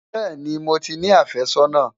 bẹẹni, mó tí ní afe sónà